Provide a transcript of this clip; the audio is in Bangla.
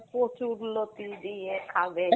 কচুর লতি দিয়ে খাবে